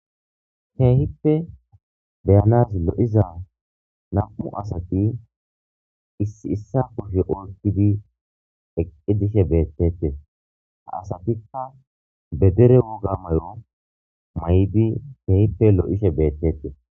heehippe beyanaz lo7iza nam7u asati issi issa kushe olkidi eqqi dishe beettete ha asatikka bedere woga may7o may7di heehippe lo7ishe beettete